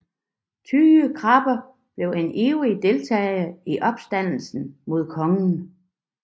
Tyge Krabbe blev en ivrig deltager i opstanden mod kongen